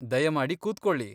ದಯಮಾಡಿ ಕೂತ್ಕೊಳ್ಳಿ.